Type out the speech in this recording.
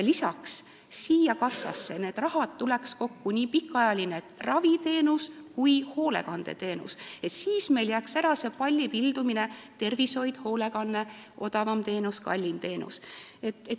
Lisaks tuleks sellesse kassasse see raha kokku, nii pikaajalise raviteenuse kui ka hoolekandeteenuse raha, ja ära jääks see pallipildumine: tervishoid, hoolekanne, odavam teenus, kallim teenus.